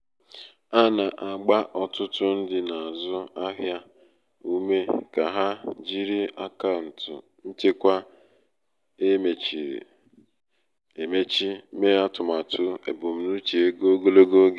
a na-agba ọtụtụ ndị na-azụ ahịa ume ka ha jiri akaụntụ nchekwa e mechiri emechi mee atụmatụ ebumnuche ego ogologo oge.